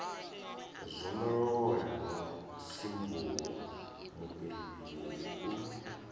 zwondolola no sinvuwa mufhirifhiri u